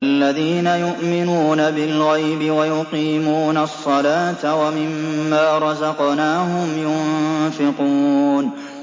الَّذِينَ يُؤْمِنُونَ بِالْغَيْبِ وَيُقِيمُونَ الصَّلَاةَ وَمِمَّا رَزَقْنَاهُمْ يُنفِقُونَ